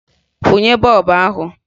Kwụnye bọọbụ ahụ!